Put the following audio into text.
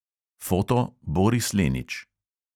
(foto: boris lenič)